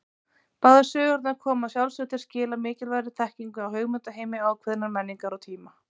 Báðar sögurnar koma að sjálfsögðu til skila mikilvægri þekkingu á hugmyndaheimi ákveðinnar menningar og tíma.